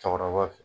Cɛkɔrɔba fɛ